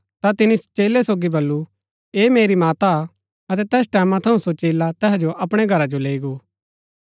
ता तिनी चेलै सोगी बल्लू ऐह मेरी माता हा अतै तैस टैमां थऊँ सो चेला तैहा जो अपणै घरा जो लैई गो